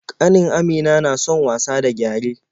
Ƙanin Amina na son wasa da gyare.